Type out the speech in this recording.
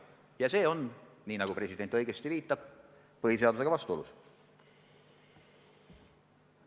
Ja see on, nii nagu president õigesti viitab, põhiseadusega vastuolus.